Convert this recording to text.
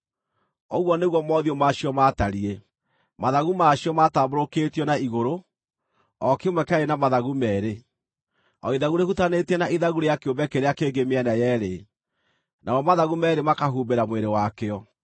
Ũguo nĩguo mothiũ ma cio maatariĩ. Mathagu ma cio maatambũrũkĩtio na igũrũ; o kĩmwe kĩarĩ na mathagu meerĩ, o ithagu rĩhutanĩtie na ithagu rĩa kĩũmbe kĩrĩa kĩngĩ mĩena yeerĩ, namo mathagu meerĩ makahumbĩra mwĩrĩ wakĩo.